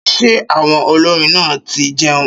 Ṣé àwọn olórin náà ti jẹun